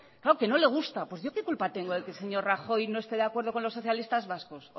no que no le gusta pues yo que culpa tengo que el señor rajoy no esté de acuerdo con los socialistas vascos